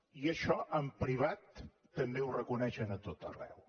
i això en privat també ho reconeixen a tot arreu